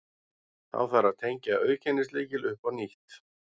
Þá þarf að tengja auðkennislykil upp á nýtt.